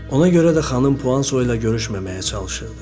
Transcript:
Ona görə də xanım Puanso ilə görüşməməyə çalışırdı.